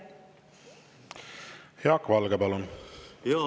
Jaak Valge, palun!